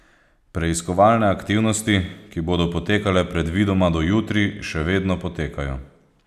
Preiskovalne aktivnosti, ki bodo potekale predvidoma do jutri, še vedno potekajo.